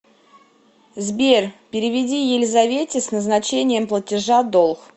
сбер переведи елизавете с назначением платежа долг